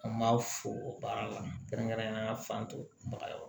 An b'a fo o baara la kɛrɛnkɛrɛnnenya fan dɔ